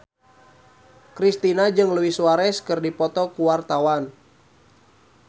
Kristina jeung Luis Suarez keur dipoto ku wartawan